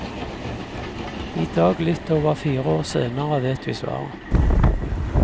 I dag, litt over fire år senere, vet vi svaret.